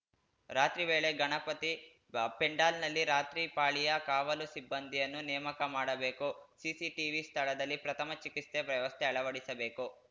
ರಾತ್ರಿವೇಳೆ ಗಣಪತಿ ಪೆಂಡಾಲ್‌ನಲ್ಲಿ ರಾತ್ರಿಪಾಳಿಯ ಕಾವಲು ಸಿಬ್ಬಂದಿಯನ್ನು ನೇಮಕ ಮಾಡಬೇಕು ಸಿಸಿ ಟಿವಿ ಸ್ಥಳದಲ್ಲಿ ಪ್ರಥಮ ಚಿಕಿತ್ಸೆ ವ್ಯವಸ್ಥೆ ಅಳವಡಿಸಬೇಕು